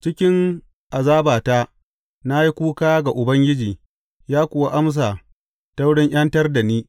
Cikin azabata na yi kuka ga Ubangiji, ya kuwa amsa ta wurin ’yantar da ni.